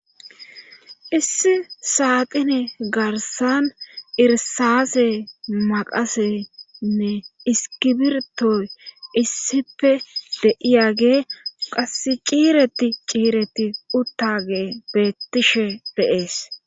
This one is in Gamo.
issi saatine garsan irsase maqasenne iski birtoy issipe deiyage qass ciireti ciireti uttage beettishe de7ees